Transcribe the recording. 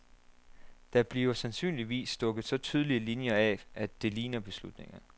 Der bliver sandsynligvis stukket så tydelige linjer af, at det ligner beslutninger.